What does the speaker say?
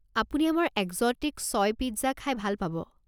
আপুনি আমাৰ এক্স'টিক ছয় পিজ্জা খাই ভাল পাব।